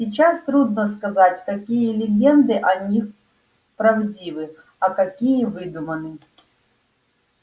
сейчас трудно сказать какие легенды о них правдивы а какие выдуманы